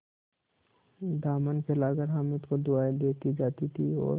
दामन फैलाकर हामिद को दुआएँ देती जाती थी और